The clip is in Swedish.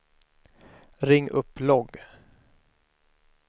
ring upp logg